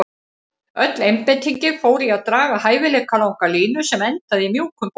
Öll einbeitingin fór í að draga hæfilega langa línu sem endaði í mjúkum boga.